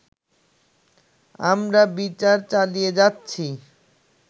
আমরা বিচার চালিয়ে যাচ্ছি